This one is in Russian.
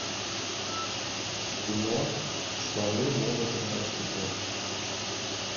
кино слоны могут играть в футбол